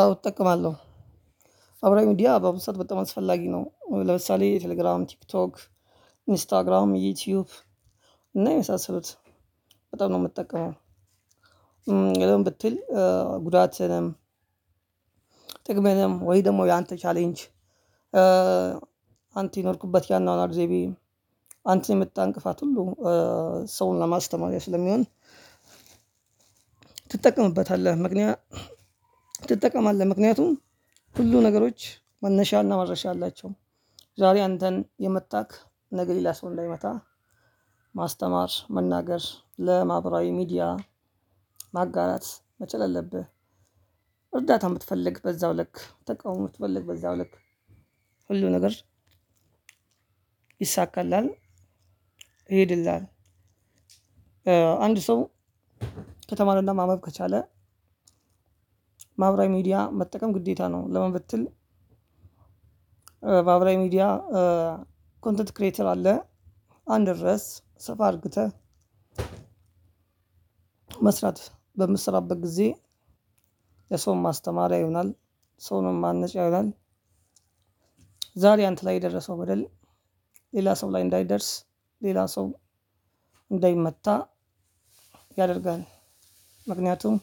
አዎ እጠቀማለሁ ማህበራዊ ሚዲያ በአሁኑ ሰዓት በጣም አስፈላጊ ነው። ለምሳሌ ቴሌግራም ቲክቶክ ኢንስታግራም ዩቲዩብ እና የመሳሰሉት በጣም ነው የምጠቀመው። ለምን ብትል ጉዳትንም ጥቅምንም ወይምጀ ደግሞ ያንተ ቻሌንጅ አንተ የኖርክበት ያኑአኑአር ዘይቤ አንተ የመጣን ክፋት ሁሉ ሰውን ለማስተማሪያ ስለሚሆን ትጠቀምበታለህ ምክንያት ትጠቀማለህ ምክንያቱም ሁሉ ነገሮች መነሻና መድረሻ አላቸው ዛሬ አንተን የምታህ ነገ ሌላ ሰው እንዳይመታ ማስተማር መናገር ለማማህበራዊ ሚዲያ ማጋራት መቻል አለብህ። እርዳታም ብትፈልግ በዛው ልክ ተቃውሞ ብትፈልግ በዛው ልክ ሁሉ ነገር ይሳካልሃል ይሄድልሃል። አንድ ሰው ከተማረና ማንበብ ከቻለ ማህበራዊ ሚዲያ መጠቀም ግዴታ ነው። ለምን ብትል? ማህበራዊ ሚዲያ ኮንተንት ክሬተር አለ አንድን ርዕስ ስፋ አድርገህ መስራት በምትሰራበት ጊዜ ለሰውም ማስተማሪያ ይሆናል ሰውንም ማነጫ ይሆናል። ዛሬ አንተ ላይ የደረሰው በደል ሌላ ሰው ላይ እንዳይደርስ ሌላ ሰው እንዳይመታ ያደርጋል። ምክንያቱም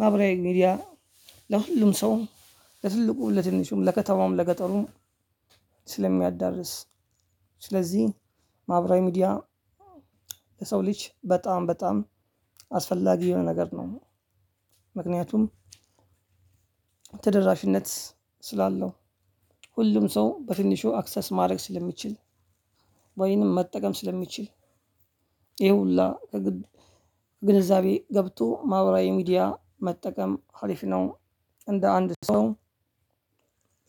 ማህበራዊ ሚዲያ ለሁሉም ሰው ለትልቁ ለትንሹም ለከተማውም ለገጠሩም ስለሚያዳርስ ስለዚህ ማህበራዊ ሚዲያ ለሰው ልጅ በጣም በጣም አስፈላጊ የሆነ ነገር ነው። ምክንያቱም ተደራሽነት ስላለው ሁሉም ሰው በትንሹ አክሰስ ማድረግ ስለሚችል ወይንም መጠቀም ስለሚችል ይሄ ሁሉ ከግንዛቤ ገብቶ ማህበራዊ ሚዲያ መጠቀም ሀሪፍ ነው። እንደ አንድ ሰው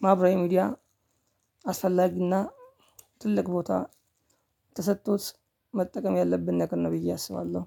ማብራይ ሚዲያ አስፈላጊና ትልቅ ቦታ ተሰጥቶት መጠቀም ያለብን ነገር ነው። ብዬ አስባለሁ።